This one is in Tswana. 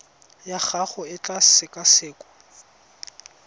ya gago e tla sekasekwa